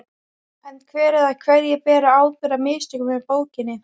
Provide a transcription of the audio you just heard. En hver eða hverjir bera ábyrgð á mistökunum með bókina?